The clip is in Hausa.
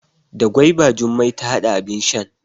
Da gwaiba Jummai ta hada abin shan.